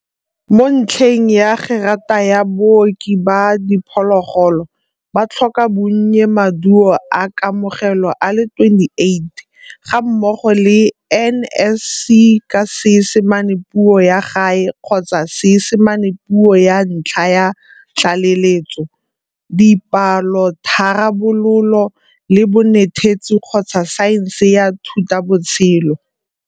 Mo ntlheng ya gerata ya Booki ba Diphologolo, ba tlhoka bonnye Maduo a Kamogelo a le 28 gammogo le NSC ka Seesimane Puo ya Gae kgotsa Seesimane Puo ya Ntlha ya Tlaleletso, dipalotharabololo, le bonetetshi kgotsa saense ya thutabotshelo,